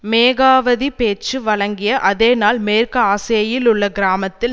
Megawati பேச்சு வழங்கிய அதே நாள் மேற்கு ஆசேயில் உள்ள கிராமத்தில்